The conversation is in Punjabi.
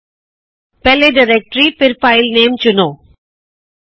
ਪਹਿਲੇ ਡਾਇਰੈਕਟਰੀ ਡਾਇਰੈਕਟਰੀ ਅਤੇ ਫੇਰ ਫਾਈਲ ਨਾਮੇ ਫਾਇਲਨੇਮ ਚੁਣੋ